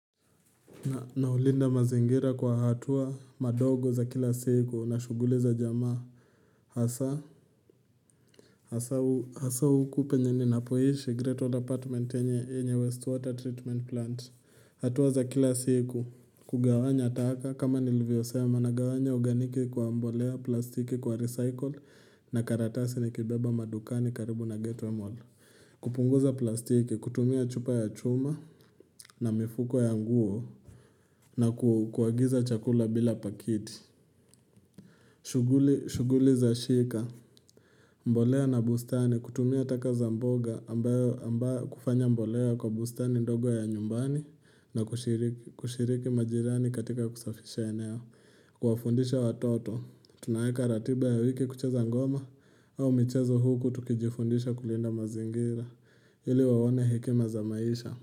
Naulinda mazingira kwa hatua madogo za kila siku na shuguli za jamaa hasa huku penye ninapoishi Great Old Apartment enye enye Westwater Treatment Plant. Hatua za kila siku kugawanya taka kama nilvyo sema na gawanya oganiki kwa mbolea plastiki kwa recycle na karatasi ni kibaba madukani karibu na geto mall. Kupunguza plastiki, kutumia chupa ya chuma na mifuko ya nguo na kuagiza chakula bila pakiti shuguli za shika mbolea na bustani, kutumia taka za mboga ambayo kufanya mbolea kwa bustani ndogo ya nyumbani na kushiriki kushiriki majirani katika kusafisha eneo Kwa fundisha watoto, tunaeka ratiba ya wiki kucheza ngoma au michezo huku tukijifundisha kulinda mazingira ili waone hekima za maisha.